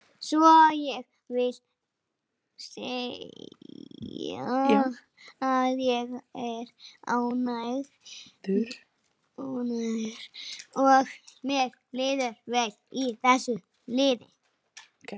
Svo ég vil segja að ég er ánægður og mér líður vel í þessu liði.